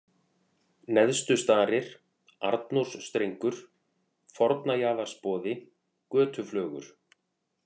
Neðstustarir, Arnórsstrengur, Fornajaðarsboði, Götuflögur